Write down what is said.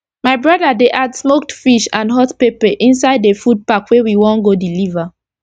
my broda dey add smoked fish and hot pepper inside the food pack wey we wan go deliver